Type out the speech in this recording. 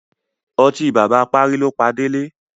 Ọtí bàbá apárí ló pa Délé.